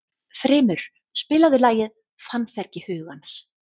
Þrymur, spilaðu lagið „Fannfergi hugans“.